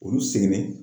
Olu seginnen